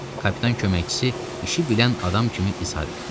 Kapitan köməkçisi işi bilən adam kimi izhar etdi.